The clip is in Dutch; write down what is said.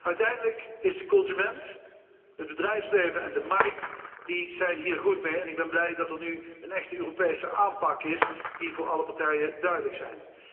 Uiteindelijk is de consument, het bedrijfsleven en de markt hiermee gebaat. Ik ben blij dat er nu een echte Europese aanpak is die voor alle partijen duidelijk is.